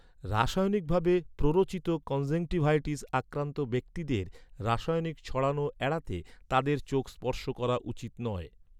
রাসায়নিক ভাবে প্ররোচিত কনজেংটিভাইটিস আক্রান্ত ব্যক্তিদের, রাসায়নিক ছড়ানো এড়াতে তাদের চোখ স্পর্শ করা উচিত নয়।